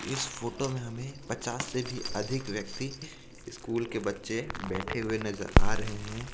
इस फोटो मे हमें पचास से भी अधिक व्यक्ति स्कूल के बच्चे बैठे हुई नजर आ रहे हे.